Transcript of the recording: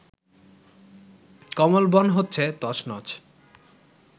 কমলবন হচ্ছে তছনছ